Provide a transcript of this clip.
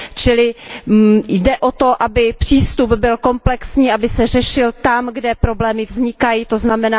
Čili jde o to, aby přístup byl komplexní, aby se řešil tam, kde problémy vznikají, tzn.